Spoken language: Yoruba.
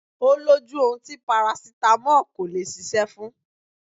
Ó lójú ohun tí parasítámọ̀ kò lè ṣiṣẹ́ fún